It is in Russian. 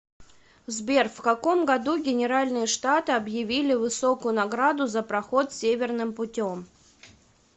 сбер в каком году генеральные штаты объявили высокую награду за проход северным путем